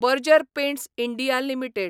Berger Paints India limited